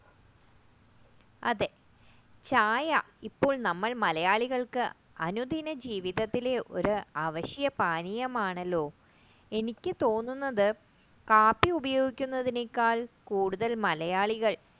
അതെ ചായ ഇപ്പോൾ നമ്മൾ മലയാളികൾക്ക് അനുദിന ജീവിതത്തിലെ ഒരു അവശ്യപാനീയമാണല്ലോ എനിക്ക് തോന്നുന്നത് കാപ്പി ഉപയോഗിക്കുന്നതിനേക്കാൾ കൂടുതൽ മലയാളികൾ